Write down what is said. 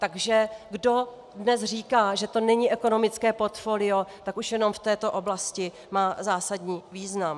Takže kdo dnes říká, že to není ekonomické portfolio, tak už jenom v této oblasti má zásadní význam.